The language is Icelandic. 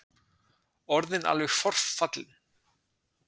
Orðinn alveg forfallinn.